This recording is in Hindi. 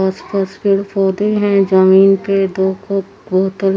आस पास पेड़ पोधे हें जमीन पर दो --